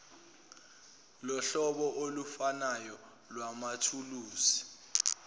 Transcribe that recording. lohlobo olufanayo lwamathuluzi